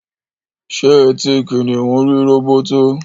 ṣé eti kìnìún rí róbótó?